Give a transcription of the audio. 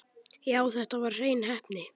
Já, þetta var hrein heppni.